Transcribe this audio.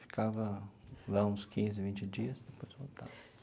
Ficava lá uns quinze, vinte dias, depois voltava.